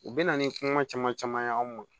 U bɛ na ni kuma caman caman ye anw ma